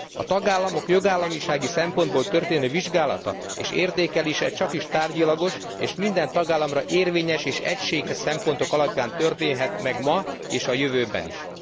A tagállamok jogállamisági szempontból történő vizsgálata és értékelése csakis tárgyilagos és minden tagállamra érvényes, és egységes szempontok alapján történhet meg ma és a jövőben is.